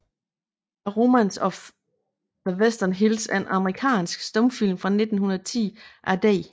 A Romance of the Western Hills er en amerikansk stumfilm fra 1910 af D